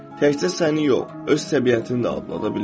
Təkcə səni yox, öz təbiətini də adlada bilir.